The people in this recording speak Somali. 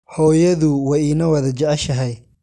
Hooyadu way ina wada jeceshahay.